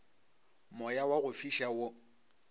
moya wa go fiša wo